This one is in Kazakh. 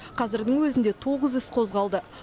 қазірдің өзінде тоғыз іс қозғалды